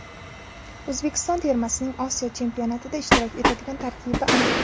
O‘zbekiston termasining Osiyo Chempionatida ishtirok etadigan tarkibi aniq.